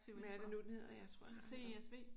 Hvad er det nu den hedder? Jeg tror jeg har hørt om